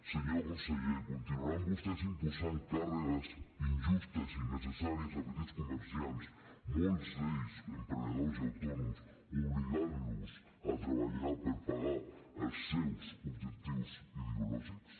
senyor conseller continuaran vostès imposant càrregues injustes i innecessàries a petits comerciants molts d’ells emprenedors i autònoms obligant los a treballar per pagar els seus objectius ideològics